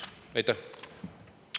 Aitäh!